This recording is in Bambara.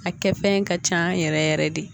A kɛ fɛn ka can yɛrɛ yɛrɛ yɛrɛ de